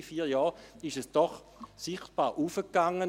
Alle vier Jahre ging es doch sichtbar nach oben.